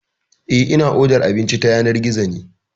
Eh, ina odar abinci ta yanar gizo ne.